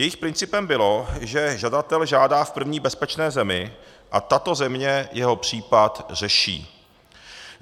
Jejich principem bylo, že žadatel žádá v první bezpečné zemi a tato země jeho případ řeší.